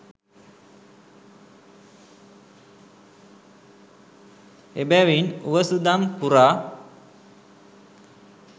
එබැවින් උවසුදම් පුරා